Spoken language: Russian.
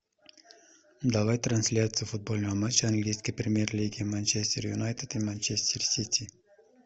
давай трансляцию футбольного матча английской премьер лиги манчестер юнайтед и манчестер сити